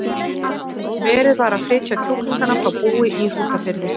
Verið var að flytja kjúklingana frá búi í Hrútafirði.